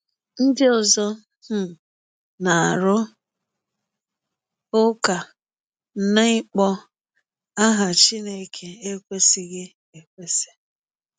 Ndị ọzọ um na-arụ ụka na ịkpọ aha Chineke ekwesịghi ekwesị.